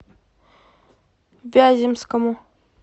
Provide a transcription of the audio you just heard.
вяземскому